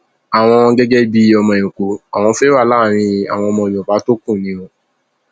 àwọn gẹgẹ bíi ọmọ ẹkọ àwọn fẹẹ wà láàrin àwọn yorùbá tó kù ni o